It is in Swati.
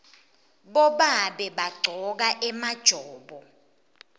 bobabe bagcoka emajobo